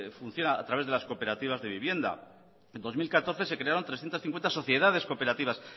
funciona a través de cooperativas de vivienda en dos mil catorce se crearon trescientos cincuenta sociedades cooperativas